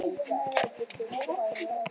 Ég er að hugsa um að sleppa þér aldrei.